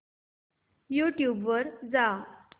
YouTube वर जा